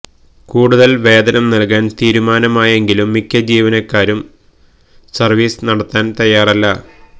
കൂടുതല് വേതനം നല്കാന് തീരുമാനമായെങ്കിലും മിക്ക ജീവനക്കാരും സര്വീസ് നടത്താന് തയ്യാറല്ല